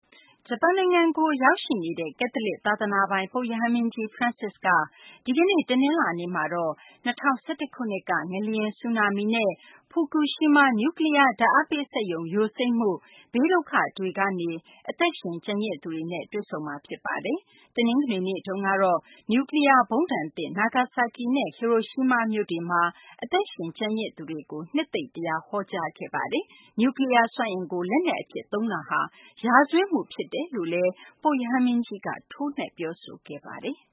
ဂျပန်နိုင်ငံကို ရောက်ရှိနေတဲ့ ကက်သလစ် သာသနာပိုင် ပုပ်ရဟန်းမင်းကြီး Francis က ဒီကနေ့ တနင်္လာနေ့မှာတော့ ၂၀၁၁ ခုနှစ်က ငလျင်၊ ဆူနာမီနဲ့ ဖူကူရှီးမား နျူကလီးယား ဓာတ်အားပေးစက်ရုံ ယိုစိမ့်မှု ဘေးဒုက္ခတွေကနေ အသက်ရှင် ကျန်ရစ်သူတွေနဲ့ တွေ့ဆုံမှာဖြစ်ပါတယ်။ တနင်္ဂနွေနေ့ကတော့ နျူကလီးယားဗုံးဒဏ်သင့် နာဂါဆာကီနဲ့ ဟီရိုရှီးမားမြို့တွေမှာ အသက်ရှင်ကျန်ရစ်သူတွေကို နှစ်သိမ့် တရားဟောကြားခဲ့ပါတယ်။ နျူးကလီးယားစွမ်းအင်ကို လက်နက်အဖြစ် အသုံးပြုတာဟာ ရာဇဝတ်မှုဖြစ်တယ်လို့ ပုပ်ရဟန်းမင်းကြီးက ထိုးနှက် ပြောဆိုခဲ့ပါတယ်။